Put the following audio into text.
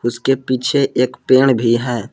उसके पीछे एक पेड़ भी है।